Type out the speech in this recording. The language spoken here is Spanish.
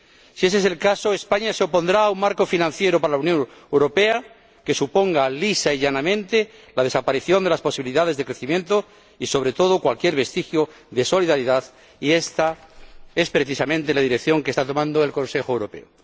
Si ese es el caso, España se opondrá a un marco financiero plurianual para la Unión Europea que suponga lisa y llanamente la desaparición de las posibilidades de crecimiento y, sobre todo, cualquier vestigio de solidaridad, y esta es precisamente la dirección que está tomando el Consejo Europeo.